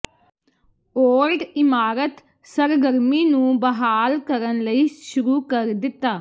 old ਇਮਾਰਤ ਸਰਗਰਮੀ ਨੂੰ ਬਹਾਲ ਕਰਨ ਲਈ ਸ਼ੁਰੂ ਕਰ ਦਿੱਤਾ